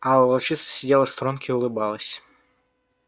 а волчица сидела в сторонке и улыбалась